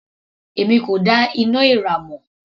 Èmi kò dá iná èèrà mọ̀.